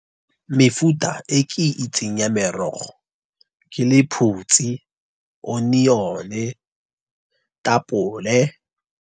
Mefuta e ke itseng ya merogo ke lephutsi, onion, tapole.